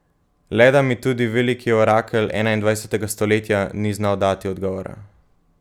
Le da mi tudi veliki orakelj enaindvajsetega stoletja ni znal dati odgovora.